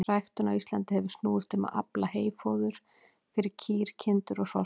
Ræktun á Íslandi hefur snúist um að afla heyfóðurs fyrir kýr, kindur og hross.